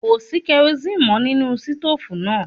Kò sí kerosíínì mọ́ nínú sítòòfù náà.